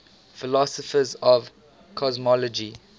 philosophers of cosmology